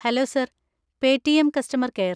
Hello sir, Paytm customer care.